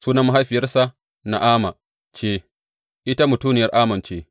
Sunan mahaifiyarsa Na’ama ce, ita mutuniyar Ammon ce.